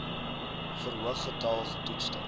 verhoog getal getoetste